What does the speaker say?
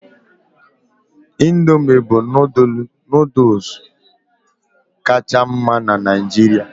Indomị bụ nooduls kacha mma na Naijiria